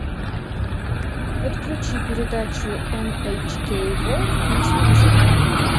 подключи передачу эн эйч кей ворлд на телевизоре